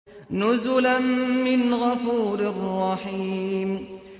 نُزُلًا مِّنْ غَفُورٍ رَّحِيمٍ